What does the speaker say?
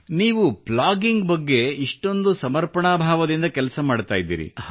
ನೀವು ಪ್ಲಾಗಿಂಗ್ ಬಗ್ಗೆ ಇಷ್ಟೊಂದು ಸಮರ್ಪಣಾಭಾವದಿಂದ ಕೆಲಸ ಮಾಡುತ್ತಿದ್ದೀರಿ